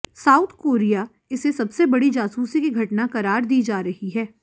south Korea इसे सबसी बड़ी जासूसी की घटना करार दी जा रही है